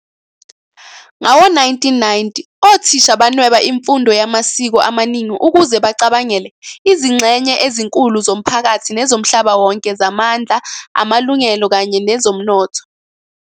Ngawo-1990, othisha banweba imfundo yamasiko amaningi ukuze bacabangele "izingxenye ezinkulu zomphakathi nezomhlaba wonke zamandla, amalungelo, kanye nezomnotho."